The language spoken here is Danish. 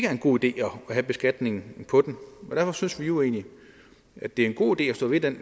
er en god idé at have beskatningen på dem og derfor synes vi jo egentlig at det er en god idé at stå ved den